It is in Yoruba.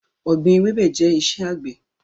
Ọ̀gbín ewébẹ̀ jẹ iṣẹ́ àgbẹ̀